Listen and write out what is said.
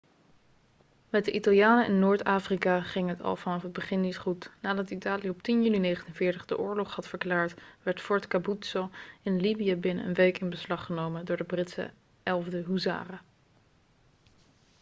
met de italianen in noord-afrika ging het al vanaf het begin niet goed nadat italië op 10 juni 1940 de oorlog had verklaard werd fort capuzzo in libië binnen een week in beslag genomen door de britse 11e huzaren